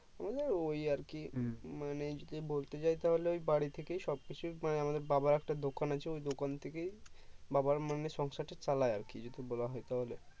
আমাদের ওই আরকি মানে যদি বলতে যাই তাহলে ওই বাড়ি থেকেই সবকিছু মানে আমাদের বাবার একটি দোকান আছে ওই দোকান থেকে বাবার মানে সংসার তা চালায় আরকি যদি বলা হয়